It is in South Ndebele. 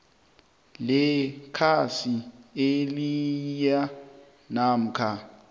lekhasi eliyia namkha